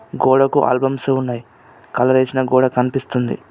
గోడకు ఆల్బమ్స్ ఉన్నాయి కలర్ యేసిన గోడ కనిపిస్తుంది.